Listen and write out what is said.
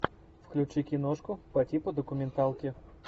включи киношку по типу документалки